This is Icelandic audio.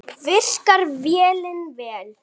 Virkar vélin vel?